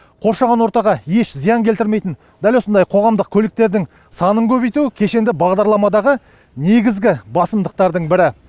қоршаған ортаға еш зиян келтірмейтін дәл осындай қоғамдық көліктердің санын көбейту кешенді бағдарламадағы негізгі басымдықтардың бірі